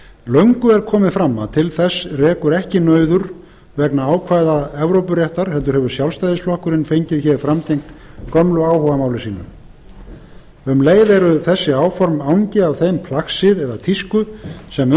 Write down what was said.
löngu er komið fram að til þess rekur ekki nauður vegna ákvæða evrópuréttar heldur hefur sjálfstæðisflokkurinn fengið hér framgengt gömlu áhugamáli sínu um leið eru þessi áform angi af þeim plagsið eða tísku sem